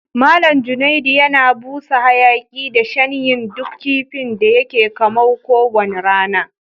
Mallam Junaid yana busa hayaki da shanyin duk kifin da yake kamaw ko wani rana.